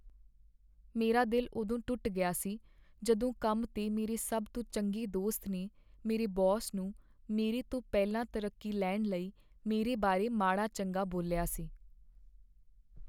ਮੇਰਾ ਦਿਲ ਉਦੋਂ ਟੁੱਟ ਗਿਆ ਸੀ ਜਦੋਂ ਕੰਮ 'ਤੇ ਮੇਰੇ ਸਭ ਤੋਂ ਚੰਗੇ ਦੋਸਤ ਨੇ ਮੇਰੇ ਬੌਸ ਨੂੰ ਮੇਰੇ ਤੋਂ ਪਹਿਲਾਂ ਤਰੱਕੀ ਲੈਣ ਲਈ ਮੇਰੇ ਬਾਰੇ ਮਾੜਾ ਚੰਗਾ ਬੋਲਿਆ ਸੀ